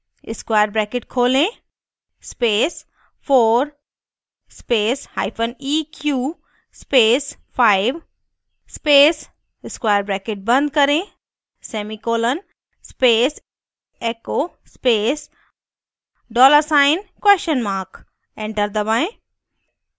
square bracket खोलें space 4 space hyphen eq space 5 space square bracket बंद करें semicolon space echo space dollar sign question mark enter दबाएं